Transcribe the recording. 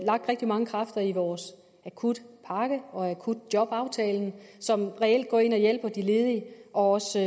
lagt rigtig mange kræfter i vores akutpakke og i akutjobaftalen som reelt går ind og hjælper de ledige og også